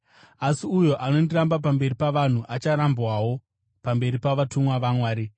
Asi uyo anondiramba pamberi pavanhu acharambwawo pamberi pavatumwa vaMwari.